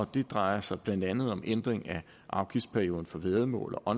det drejer sig blandt andet om ændring af afgiftsperioden for væddemål og